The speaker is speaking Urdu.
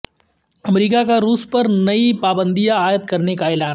امریکہ کا روس پر نئی پابندیاں عائد کرنے کا اعلان